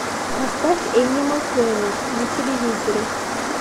поставь энимал плэнет на телевизоре